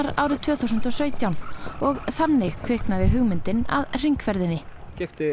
árið tvö þúsund og sautján og þannig kviknaði hugmyndin að hringferðinni keypti